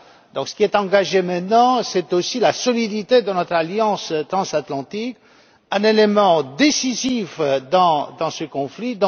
Donc, ce qui est en jeu maintenant, c'est aussi la solidité de notre alliance transatlantique, un élément décisif dans ce conflit.